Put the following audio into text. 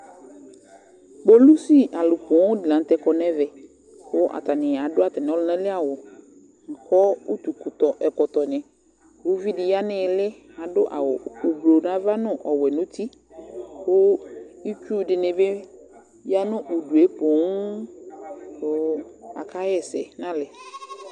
Kpolusi alʋ poo dɩ la nʋ tɛ kɔ nʋ ɛvɛ kʋ atanɩ adʋ atamɩ ɔlʋna li awʋ kʋ utukutɔ ɛkɔtɔnɩ Uvi dɩ ya nʋ ɩɩlɩ, adʋ awʋ oblo nʋ ava nʋ ɔwɛ nʋ uti kʋ itsu dɩnɩ bɩ ya nʋ udu yɛ poo kʋ akaɣa ɛsɛ nʋ alɛ